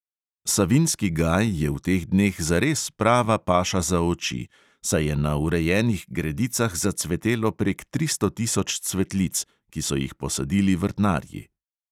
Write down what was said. Savinjski gaj je v teh dneh zares prava paša za oči, saj je na urejenih gredicah zacvetelo prek tristo tisoč cvetlic, ki so jih posadili vrtnarji.